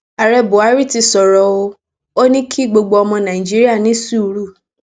ààrẹ buhari ti sọrọ o ò ní kí gbogbo ọmọ nàìjíríà ní sùúrù